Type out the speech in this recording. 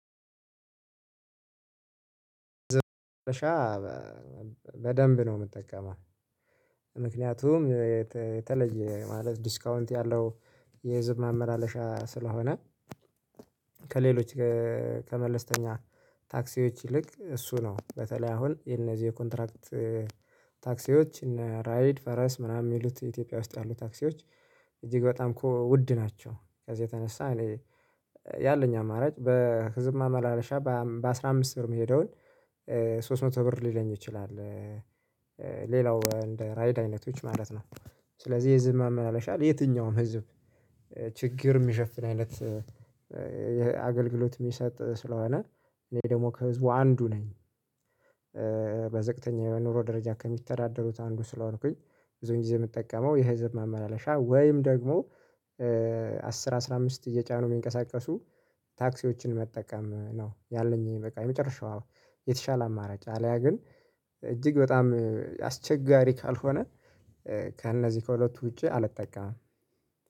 በደንብ ነው እምጠቀመው ምክንያቱም የተለየ ማለት ዲስካውንት ያለው የህዝብ ማመላለሻ ስለሆነ። ከሌሎች ከመለስተኛ ታክሲዎች ይልቅ እሱ ነው በተለይ አሁን የነዚህ ኮንትራክት ታክሲዎች እና ራይድ ፈረስ ምናምን የሚሉት ኢትዮጵያ ውስጥ ያሉ ታክሲዎች እጅግ በጣም እኮ ውድ ናቸው። በዛ የተነሳ እኔ ያለኝ አማራጭ በህዝብ ማመላለሻ በአስራ አምስት ብር የሚሄደውን ሶስት መቶ ብር ሊለኝ ይችላል። ሌላው እንደ ራይድ አይነቶች ማለት ነው። ስለዚህ የህዝብ ማመላለሻ ለየትኛውም ህዝብ ችግር የሚሸፍን አይነት አገልግሎት የሚሰጥ ስለሆነ እኔ ደግሞ ከህዝቡ አንዱ ነኝ። በዝቅተኛ የኑሮ ደረጃ ከሚተዳደሩት አንዱ ስለሆንኩኝ ብዙ ጊዜ የምጠቀመው የህዝብ ማመላለሻ ወይም ደግሞ አስር አስራ አምስት እየጫኑ የሚንቀሳቀሱ ታክሲዎችን መጠቀም ነው። ያለኝ በቃ የመጨረሻው የተሻለ አማራጭ አለያ ግን እጅግ በጣም አስቸጋሪ ካልሆነ ከእነዚህ ከሁለቱ ውጪ አልጠቃም።